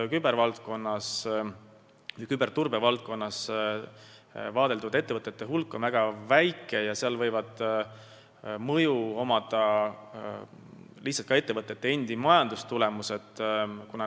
Kübervaldkonnas või küberturbevaldkonnas tegutsevate ettevõtete hulk on väga väike ja seal võivad mõju avaldada lihtsalt ka ettevõtete endi majandustulemused.